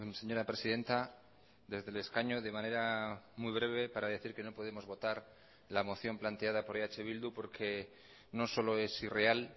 señora presidenta desde el escaño de manera muy breve para decir que no podemos votar la moción planteada por eh bildu porque no solo es irreal